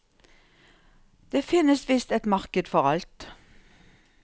Det finnes visst et marked for alt.